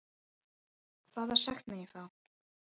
Hvaða sekt mun ég fá?